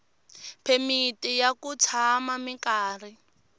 phemiti ya ku tshama minkarhi